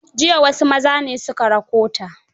Jiya wasu maza ne su ka rakota.